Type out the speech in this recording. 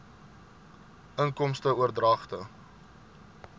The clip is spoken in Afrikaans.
inkomste oordragte